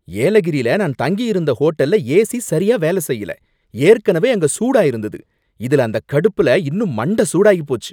ஏலகிரில நான் தங்கியிருந்த ஹோட்டல்ல ஏசி சரியா வேலை செய்யல, ஏற்கனவே அங்க சூடா இருந்தது, இதுல அந்தக் கடுப்புல இன்னும் மண்ட சூடாகிப்போச்சு.